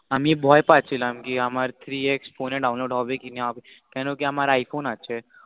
আমি ভয় পাছিলাম আমার three x phone download হবে কি না হবে কেন কি আমার i phone আছে